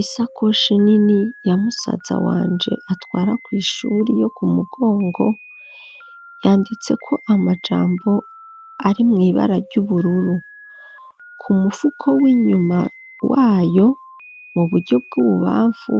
Isakoshi nini, ya musaza wanje, atwara kw'ishuri, yo ku mugongo, yanditseko amajambo, ari mw'ibara ry'ubururu; ku mufuko w'inyuma wayo, mu buryo bw'ububamfu,